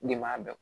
Ne m'a dɔn